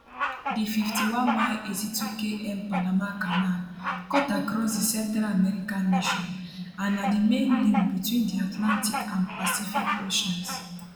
di 51mile 82km panama canal cut across di central american nation and na di main link between di atlantic and pacific oceans